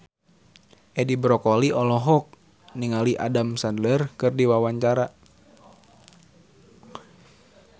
Edi Brokoli olohok ningali Adam Sandler keur diwawancara